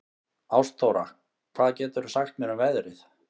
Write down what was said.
Ástþóra, hvað geturðu sagt mér um veðrið?